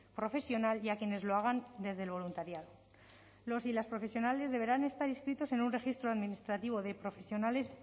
profesional y a quienes lo hagan desde el voluntariado los y las profesionales deberán estar inscritos en un registro administrativo de profesionales